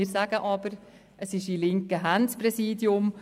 Wir sagen aber, dass das Präsidium in linken Händen ist.